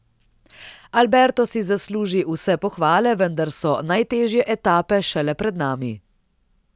Alberto si zasluži vse pohvale, vendar so najtežje etape šele pred nami.